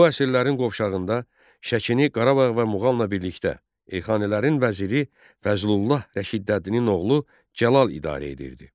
Bu əsrlərin qovşağında Şəkini Qarabağ və Muğamla birlikdə Elxanilərin vəziri Fəzlullah Rəşidəddinin oğlu Cəlal idarə edirdi.